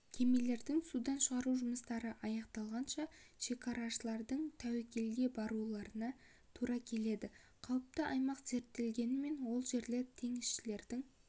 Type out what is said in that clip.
кемелерді судан шығару жұмыстары аяқталғанша шекарашылардың тәуекелге баруларына тура келеді қауіпті аймақ зерттелгенімен ол жерлер теңізшілердің